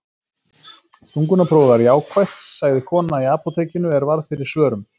Þungunarprófið var jákvætt, sagði kona í apótekinu er varð fyrir svörum.